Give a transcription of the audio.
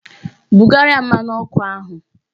Bugara ya mmanụ ọkụ ahụ!